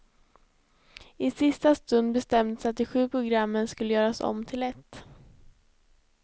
I sista stund bestämdes att de sju programmen skulle göras om till ett.